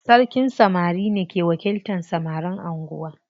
Sarkin samari ne ke wakiltan samarin anguwa.